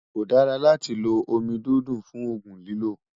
kò dá látí ló omí dúndún fún ògún lílò